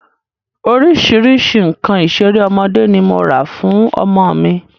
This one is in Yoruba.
Orísìírísìí nǹkan ìṣeré ọmọdé ni mo rà fún ọmọ mi